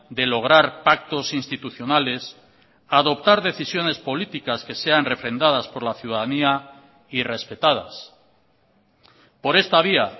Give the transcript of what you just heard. de lograr pactos institucionales adoptar decisiones políticas que sean refrendadas por la ciudadanía y respetadas por esta vía